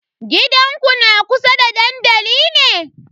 Gidanku na kusa da dandali ne?